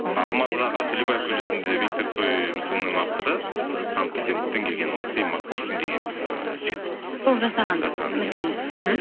алматыдағы төлебаев көшесіндегі виктор цой мүсінінің авторы ы санкт петербургтен келген матвей макушкин деген ыыы жігіт сол жасаған мүсін мхм